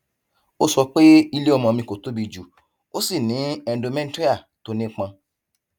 ó sọ pé ilé ọmọ mi kò tóbi jù ó sì ní endometrial tó nípọn